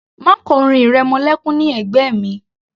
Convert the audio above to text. Má kọ orin ìrẹmọlékún ní ẹ̀gbẹ́ mi